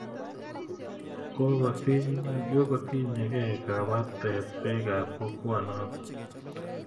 Kokotiny ye kei kabatet piik ap kokwo notok